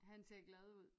Han ser glad ud